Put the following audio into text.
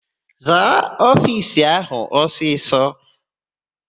Zaa ofiisi áhụ̀ ọsịsọ!